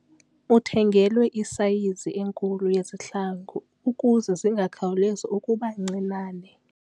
Uthengelwe isayizi enkulu yezihlangu ukuze zingakhawulezi ukuba ncinane.